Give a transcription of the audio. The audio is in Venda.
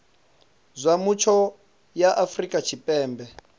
zwa mutsho ya afrika tshipembe